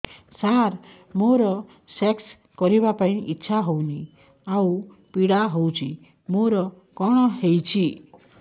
ସାର ମୋର ସେକ୍ସ କରିବା ପାଇଁ ଇଚ୍ଛା ହଉନି ଆଉ ପୀଡା ହଉଚି ମୋର କଣ ହେଇଛି